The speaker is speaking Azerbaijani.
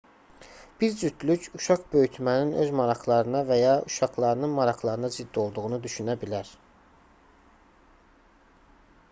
bir cütlük uşaq böyütmənin öz maraqlarına və ya uşaqlarının maraqlarına zidd olduğunu düşünə bilər